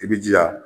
I bi jija